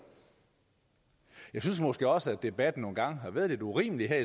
jeg synes måske også at debatten nogle gange har været lidt urimelig det er